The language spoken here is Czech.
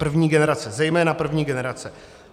První generace, zejména první generace.